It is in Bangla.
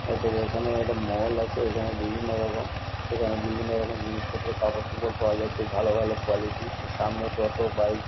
হয়তো বা এখানে একটা মল আছে এখানে বিভিন্ন রকম। এখানে বিভিন্ন রকম জিনিসপত্র কাপড়চোপড় পাওয়া যায় খুব ভালো ভালো কোয়ালিটি -র। সামনে টোটো বাইক --